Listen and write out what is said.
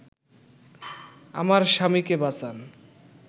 আমার স্বামীকে বাঁচান